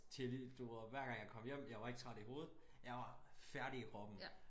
Til i du ved hver gang jeg kom hjem jeg var ikke træt i hovedet jeg var færdig i kroppen